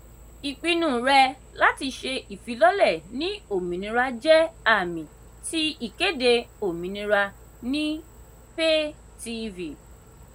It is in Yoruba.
ìpinnu rẹ láti ṣé ìfilọ̀lẹ́ ní òmìnira jẹ́ àmì ti ìkéde "òmìnira"ni pay-tv.